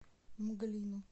мглину